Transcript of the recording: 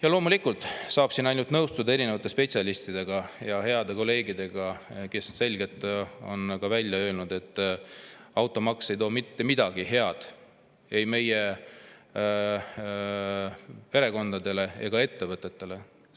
Ja loomulikult saab siin ainult nõustuda spetsialistidega ja heade kolleegidega, kes on selgelt välja öelnud, et automaks ei too mitte midagi head ei meie perekondadele ega ettevõtetele.